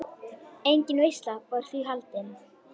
Engin veisla var því haldin.